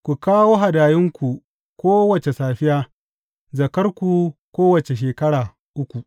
Ku kawo hadayunku kowace safiya, zakkarku kowace shekara uku.